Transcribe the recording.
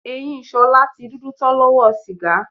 Eyín S̩o̩lá ti dúdú tán ló̩wó̩ sìgá